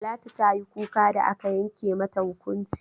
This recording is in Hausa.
Talatu ta yi kuka da aka yanke mata hukunci.